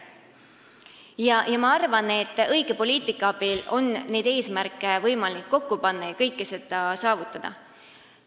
Ja ma arvan, et õige poliitika abil on võimalik neid eesmärke kokku panna ja kõike seda saavutada.